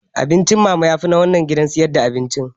Abincin mama fut yafi na wannan gidan sayar da abinci